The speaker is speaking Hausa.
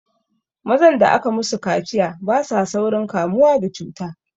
Mazan da aka musu kaciya basa saurin kamuwa da cuta